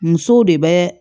Musow de bɛ